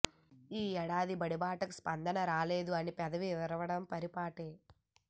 ఈ ఏడాదీ బడిబాటకు స్పందనే రాలేదు అని పెదవి విరవడం పరి పాటే